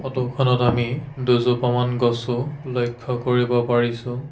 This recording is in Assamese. ফটো খনত আমি দুজোপামান গছো লক্ষ্য কৰিব পাৰিছোঁ।